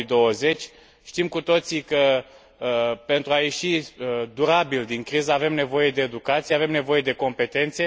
2020. Știm cu toții că, pentru a ieși durabil din criză, avem nevoie de educație, avem nevoie de competențe.